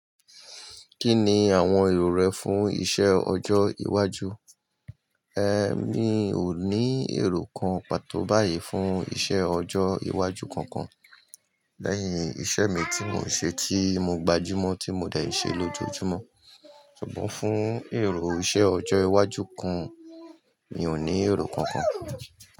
Kí ni àwọn èrò rẹ fún iṣẹ́ ọjọ́ iwájú? È mi ò ní èrò kan pàtó báyìí fún iṣẹ́ ọjọ́ iwájú kankan. Lẹ́yìn iṣẹ́ mi tí mò ń ṣe tí mo gbajúmọ̀ tí mo dẹ̀ ṣe lójoojúmọ́. Ṣùgbọ́n fún èrò iṣẹ́ ọjọ́ iwájú kan, mi ò ní èrò kankan.